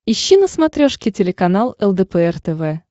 ищи на смотрешке телеканал лдпр тв